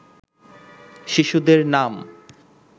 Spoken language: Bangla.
শিশুদের নাম